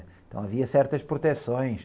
Então havia certas proteções.